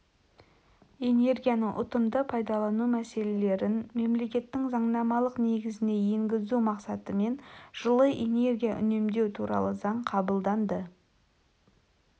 энергияны ұтымды пайдалану мәселелерін мемлекеттің заңнамалық негізіне енгізу мақсатымен жылы энергия үнемдеу туралы заң қабылданды